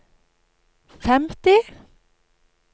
femti